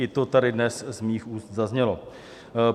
I to tady dnes z mých úst zaznělo.